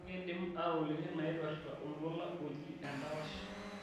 ekindim atoliki nnaipirta oltuala oji endapash